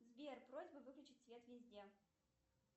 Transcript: сбер просьба выключить свет везде